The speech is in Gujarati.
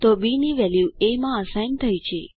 તો બી ની વેલ્યુ એ માં અસાઇન થઇ છે